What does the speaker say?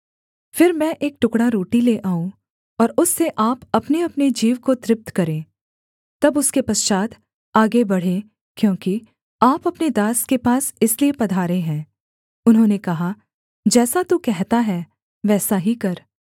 फिर मैं एक टुकड़ा रोटी ले आऊँ और उससे आप अपनेअपने जीव को तृप्त करें तब उसके पश्चात् आगे बढ़ें क्योंकि आप अपने दास के पास इसलिए पधारे हैं उन्होंने कहा जैसा तू कहता है वैसा ही कर